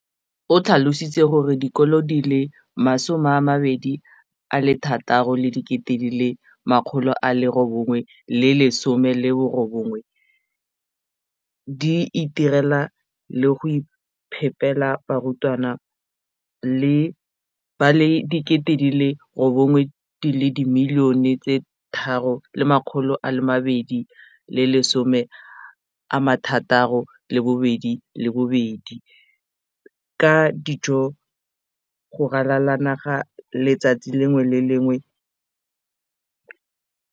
O tlhalositse gore dikolo di le 20 619 di itirela le go iphepela barutwana ba le 9 032 622 ka dijo go ralala naga letsatsi le lengwe le le lengwe.